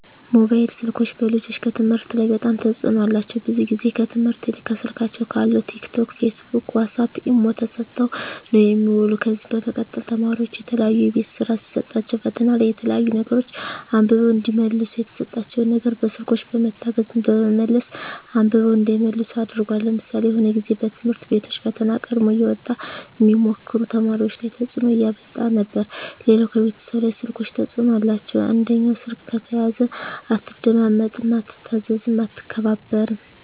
ሞባይል ስልኮች በልጆች ከትምህርት ላይ በጣም ተጽዕኖ አላቸው ብዙ ግዜ ከትምህርት ይልቅ ከስልካቸው ካለው ቲክ ቶክ ፊስቡክ ዋሳፕ ኢሞ ተሰጠው ነው የሚውሉ ከዚ በመቀጠል ተማሪዎች የተለያዩ የቤት ስራ ሲሰጣቸዉ ፈተና ላይ የተለያዩ ነገሮች አንብበው እዲመልሱ የተሰጣቸው ነገር በስልኮች በመታገዝ በመመለስ አንብበው እንዳይመልሱ አድርጓል ለምሳሌ የሆነ ግዜ በትምህርት ቤቶች ፈተና ቀድሞ እየወጣ ሚሞክሩ ተማሪዎች ላይ ተጽዕኖ እያመጣ ነበር ሌላው ከቤተሰብ ላይ ስልኮች ተጽዕኖ አላቸው አንደኛው ስልክ ከተያዘ አትደማመጥም አትታዘዝም አትከባበርም